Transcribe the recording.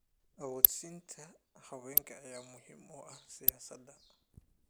Awoodsiinta haweenka ayaa muhiim u ah siyaasadda.